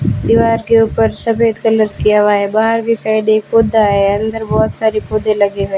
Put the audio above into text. दीवार के ऊपर सफेद कलर किया हुआ है बाहर भी शायद एक पौधा है अंदर बहुत सारे पौधे लगे हैं।